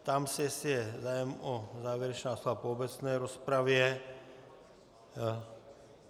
Ptám se, jestli je zájem o závěrečná slova po obecné rozpravě.